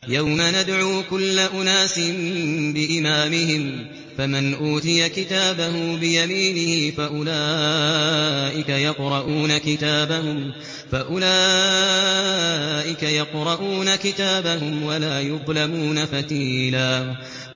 يَوْمَ نَدْعُو كُلَّ أُنَاسٍ بِإِمَامِهِمْ ۖ فَمَنْ أُوتِيَ كِتَابَهُ بِيَمِينِهِ فَأُولَٰئِكَ يَقْرَءُونَ كِتَابَهُمْ وَلَا يُظْلَمُونَ فَتِيلًا